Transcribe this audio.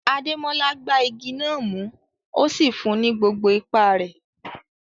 Ademola gbá igi náà mú, ó sì fún un ní gbogbo ipá rẹ̀.